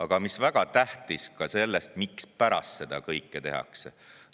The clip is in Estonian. Aga mis väga tähtis, me peaksime teadma ka, mispärast seda kõike tehakse.